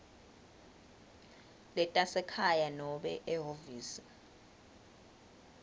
letasekhaya nobe ehhovisi